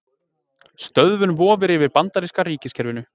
Stöðvun vofir yfir bandaríska ríkiskerfinu